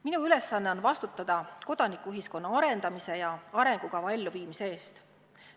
Minu ülesanne on vastutada kodanikuühiskonna arendamise ja arengukava elluviimise eest.